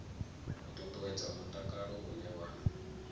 u ṱuṱuwedza mutakalo une wa